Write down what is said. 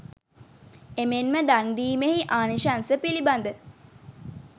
එමෙන්ම දන්දීමෙහි ආනිශංස පිළිබඳ